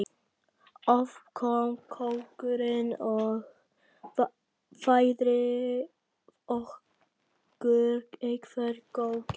Oft kom kokkurinn og færði okkur eitthvert góðgæti.